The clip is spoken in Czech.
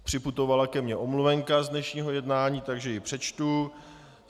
Připutovala ke mně omluvenka z dnešního jednání, takže ji přečtu.